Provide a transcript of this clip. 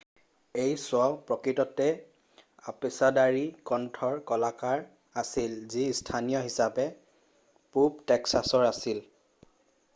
এই শ্ব' প্ৰকৃততে অপেছাদাৰী কণ্ঠৰ কলাকাৰ আছিল যি স্থানীয় হিচাপে পূৱ টেক্সাছৰ আছিল৷